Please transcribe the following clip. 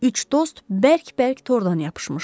Üç dost bərk-bərk tordan yapışmışdı.